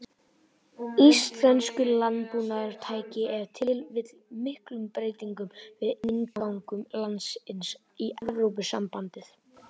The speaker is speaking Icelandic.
Íslenskur landbúnaður tæki ef til vill miklum breytingum við inngöngu landsins í Evrópusambandið.